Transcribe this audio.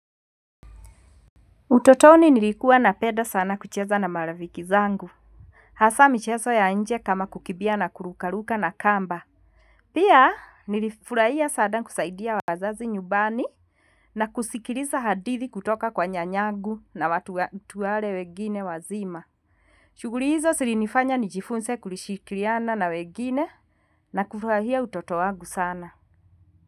Utotoni nilikuwa napenda sana kucheza na marafiki zangu. Hasaa mchezo ya nje kama kukimbia na kurukaruka na kamba. Pia nilifurahia sana kusaidia wazazi nyumbani. Na kusikiliza hadithi kutoka kwa nyanyangu na watu wale wengine wazima. Shughuli hizo zilinifanya nijifunze kushikiriana na wengine na kufurahia utoto wangu sana.